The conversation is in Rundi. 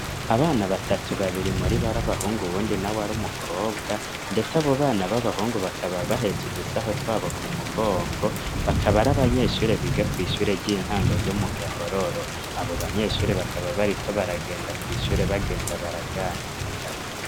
Abana batatu, babiri muribo ari abahungu uwundi nawe ari umukobwa, ndetse abo bana b'abahungu bakaba bahetse udusaho twabo ku mugongo, bakaba ari abanyeshure biga kw' ishure ry'intango ryo mu Gahororo. Abo banyeshure bakaba bariko baragenda kw' ishure bagenda baraganira.